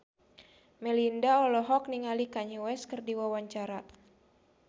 Melinda olohok ningali Kanye West keur diwawancara